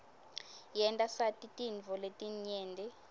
yenta sati tintfo letinyenti